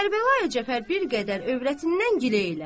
Kərbəlayı Cəfər bir qədər övrətindən gilə elədi.